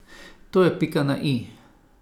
To je pika na i.